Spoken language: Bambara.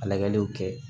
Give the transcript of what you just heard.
Lajɛliw kɛ